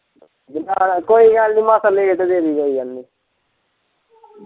ਜੇ ਉਧਾਰ ਕੋਈ ਗੱਲ ਨੀ ਮਾਸਾਂ ਲੇਟ ਦੇ ਦੀ ਕੋਈ ਗੱਲ ਨੀ।